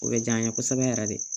O bɛ diya an ye kosɛbɛ yɛrɛ de